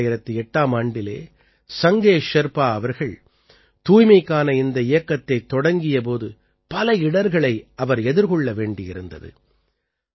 2008ஆம் ஆண்டிலே சங்கே ஷெர்பா அவர்கள் தூய்மைக்கான இந்த இயக்கத்தைத் தொடங்கிய போது பல இடர்களை அவர் எதிர்கொள்ள வேண்டியிருந்தது